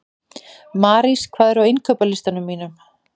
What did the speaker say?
Marís, hvað er á innkaupalistanum mínum?